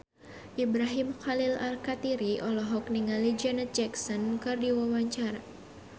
Ibrahim Khalil Alkatiri olohok ningali Janet Jackson keur diwawancara